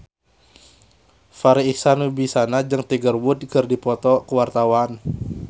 Farri Icksan Wibisana jeung Tiger Wood keur dipoto ku wartawan